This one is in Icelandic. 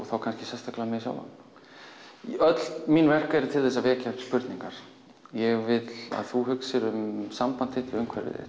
þá kannski sérstaklega mig sjálfan öll mín verk eru til þess að vekja upp spurningar ég vil að þú hugsir um samband þitt við umhverfið